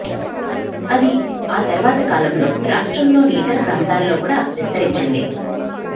అది ఆ తర్వాత కాలంలో రాష్ట్రంలోని ఇతర ప్రాంతాల్లో కూడా విస్తరించింది